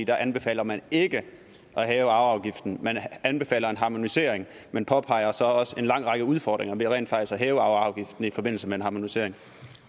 der anbefaler man ikke at hæve arveafgiften man anbefaler en harmonisering man påpeger så også en lang række udfordringer ved rent faktisk at hæve arveafgiften i forbindelse med en harmonisering